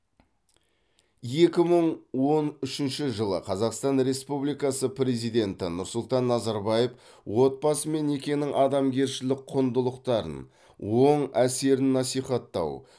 екі мың он үшінші жылы қазақстан республикасы президенті нұрсұлтан назарбаев отбасы мен некенің адамгершілік құндылықтарын оң әсерін насихаттау